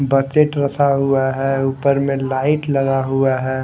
Bucket रखा हुआ हैं ऊपर में लाइट लगा हुआ है।